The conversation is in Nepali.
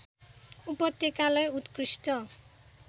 उपत्यकालाई उत्कृष्ट